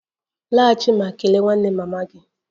Laghachi ma kelee nwanne mama gị!